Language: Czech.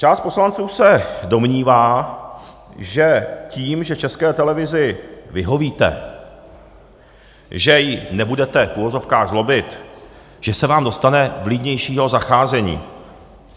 Část poslanců se domnívá, že tím, že České televizi vyhovíte, že ji nebudete - v uvozovkách - zlobit, že se vám dostane vlídnějšího zacházení.